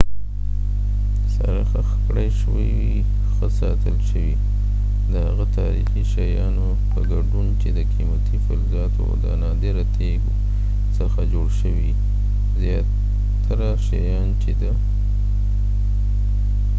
زیاتره شیان چې د tutankhamun سره خښ کړای شوي ښه ساتل شوي د هغه تاریخي شیانو په ګډون چې د قیمتي فلزاتو او نادره تیږو څخه جوړ شوي